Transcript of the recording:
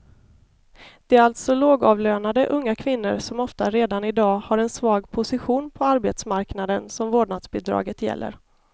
Det är alltså lågavlönade unga kvinnor som ofta redan i dag har en svag position på arbetsmarknaden som vårdnadsbidraget gäller.